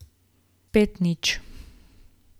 Spet nič.